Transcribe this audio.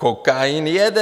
Kokain jede.